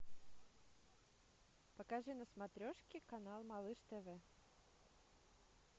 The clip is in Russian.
покажи на смотрешке канал малыш тв